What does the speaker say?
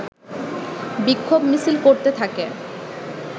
বিক্ষোভ মিছিল করতে থাকে